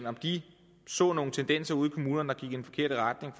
om de så nogle tendenser ude i kommunerne der i den forkerte retning